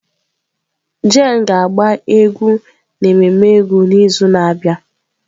Jane ga-agba egwu n'ememme egwu n'izu na-abịa.